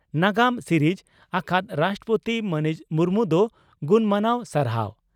ᱱᱟᱜᱟᱢ ᱥᱤᱨᱤᱡᱽ ᱟᱠᱟᱫ ᱨᱟᱥᱴᱨᱚᱯᱚᱛᱤ ᱢᱟᱹᱱᱤᱡ ᱢᱩᱨᱢᱩ ᱫᱚ ᱜᱩᱱᱢᱟᱱᱟᱣ ᱥᱟᱨᱦᱟᱣ ᱾